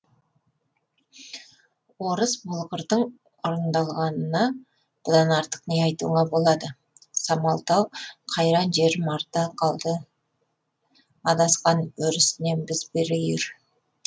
орыс болғырдың орындалғанына бұдан артық не айтуыңа болады самалтау қайран жерім арта қалды адасқан өрісінен біз бір үйір